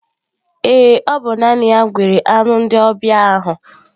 Ee, ọ bụ naanị ya gwere anụ ndị ọbịa ahụ